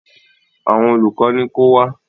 Àwọn olùkọ́ ní ko wá?